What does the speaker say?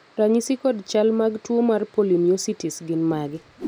ranyisi kod chal ag tuo mar polymyositis gin mage?